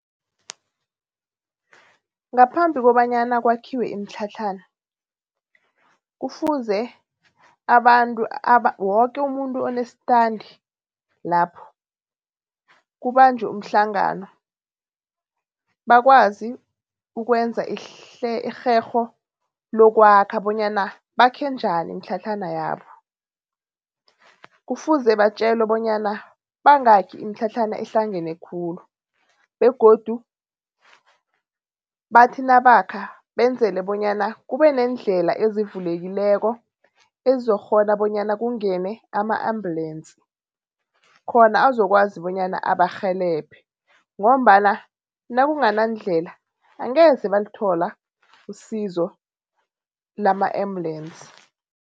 Ngaphambi kobanyana kwakhiwe imitlhatlhana, kufuze woke umuntu onestandi lapho kubanjwe umhlangano bakwazi ukwenza irherho lokwakha bonyana bakhe njani imitlhatlhana yabo. Kufuze batjelwe bonyana bangakhi imitlhatlhana ehlangene khulu begodu bathi nabakha benzele bonyana kube neendlela ezivulekileko ezizokukghona bonyana kungene ama-ambulance khona azokwazi bonyana abarhelebhe. Ngombana nakunganandlela angeze balithola isizo lama-ambulance.